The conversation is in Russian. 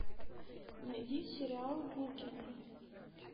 найди сериал букины